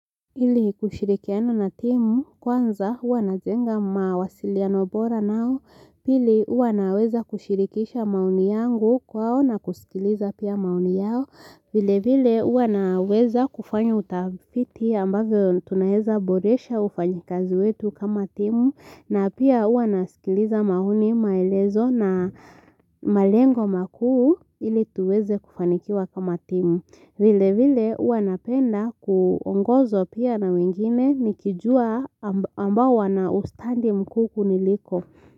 Ili kushirikiana na timu, kwanza hua najenga mawasiliano bora nao, pili hua naweza kushirikisha maoni yangu kwao na kusikiliza pia maoni yao, vile vile jua naweza kufanyoa utafiti ambavyo tunaeza boresha ufanyikazi wetu kama timu, na pia huavnasikiliza maoni maelezo na malengo makuu ili tuweze kufanikiwa kama timu. Vile vile hua napenda kuongozwa pia na wengine nikijua ambao wana ustandi mku kuniliko.